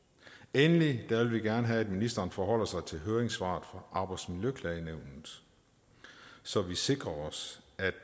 endelig vil vi gerne have at ministeren forholder sig til høringssvaret fra arbejdsmiljøklagenævnet så vi sikrer os